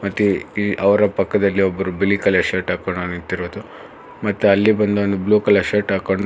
ಈ ಈ ಅವರ ಪಕ್ಕದಲ್ಲಿ ಒಬ್ರು ಬಿಲಿ ಕಲರ್ ಶರ್ಟ್ ಹಾಕೊಂಡೊನು ನಿಂತಿರೋದು ಮತ್ತ ಅಲ್ಲಿ ಬಂದೂನು ಬ್ಲೂ ಕಲರ್ ಶರ್ಟ್ ಹಾಕೊಂಡ್--